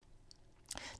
TV 2